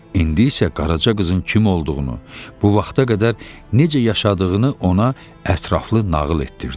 İndi isə Qaraca qızın kim olduğunu, bu vaxta qədər necə yaşadığını ona ətraflı nağıl etdirirdi.